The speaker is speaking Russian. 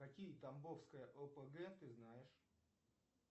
какие тамбовская опг ты знаешь